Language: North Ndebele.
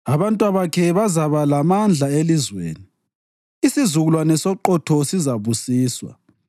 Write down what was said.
Abantwabakhe bazaba lamandla elizweni; isizukulwane soqotho sizabusiswa.